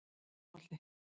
Einholti